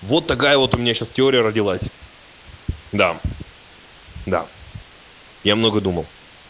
вот такая вот у меня сейчас теория родилась да да я много думал